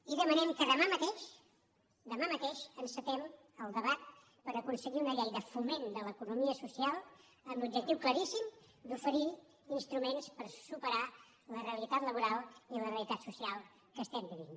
i demanem que demà mateix demà mateix encetem el debat per aconseguir una llei de foment de l’economia social amb l’objectiu claríssim d’oferir instruments per superar la realitat laboral i la realitat social que estem vivint